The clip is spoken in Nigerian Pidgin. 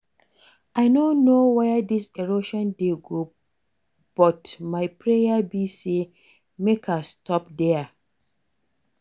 I no know where dis erosion dey go but my prayer be say make e stop there